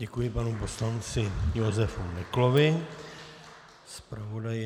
Děkuji panu poslanci Josefu Neklovi, zpravodaji...